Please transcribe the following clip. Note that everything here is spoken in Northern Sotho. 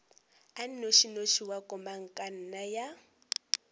a nnošinoši wa komangkanna ya